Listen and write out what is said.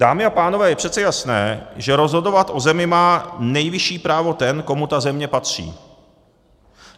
Dámy a pánové, je přece jasné, že rozhodovat o zemi má nejvyšší právo ten, komu ta země patří.